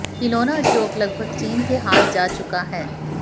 खिलौना उद्योग लगभग चीन के हाथ जा चुका है